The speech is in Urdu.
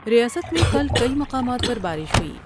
ریاست میں کل کئی مقامات پر بارش ہوئی۔